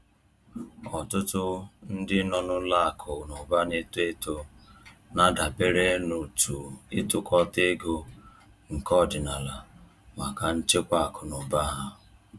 Ọtụtụ ndị nọ n’ụlọ akụ na ụba na-eto eto na-adabere n’òtù ịtukọta ego nke ọdịnala maka nchekwa akụ na ụba ha.